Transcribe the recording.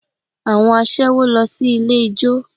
Àwọn aṣẹ́wó lọ sí ilé ijó